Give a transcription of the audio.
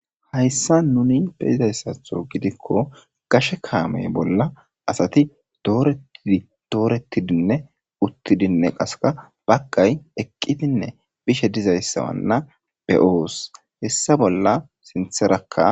Hayssa nuni beyizayssatho gidikko gashe kaamey bolla asati dooretidinne uttidinne qaseka bagay eqqidinne bishe dizayssawanna beyoos hessa bolla sintherakka.